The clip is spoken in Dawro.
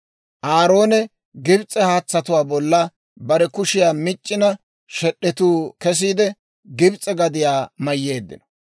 Aaroone Gibs'e haatsatuwaa bolla bare kushiyaa mic'c'ina shed'etuu kesiide, Gibs'e gadiyaa mayyeeddino.